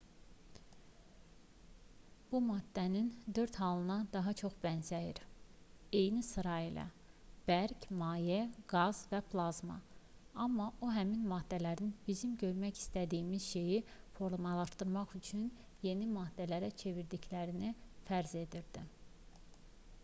bu maddənin dörd halına daha çox bənzəyir eyni sıra ilə: bərk maye qaz və plazma amma o həmin maddələrin bizim görmək istədiyimiz şeyi formalaşdırmaq üçün yeni maddələrə çevrildiklərini fərz edirdi